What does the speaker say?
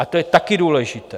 A to je taky důležité.